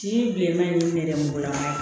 Ci bilenman ye ne yɛrɛ mugan